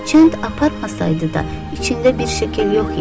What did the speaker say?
Hərçənd aparmasaydı da içində bir şəkil yox idi.